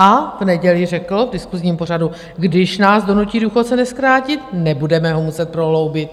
A v neděli řekl v diskusním pořadu: Když nás donutí důchodce nezkrátit, nebudeme ho muset prohloubit.